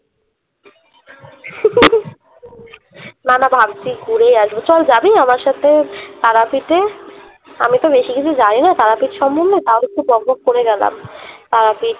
না না ভাবছি ঘুরেই আসবো চল জাবি আমার সাথে তারাপীঠে? আমি তো বেশি কিছু জানি না তারাপীঠ সম্বন্ধে তাও একটু বক বক করে গেলাম তারাপীঠ